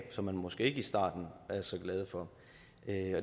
som man måske ikke i starten var så glade for